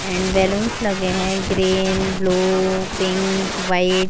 And balloons लेग है green blue pink white.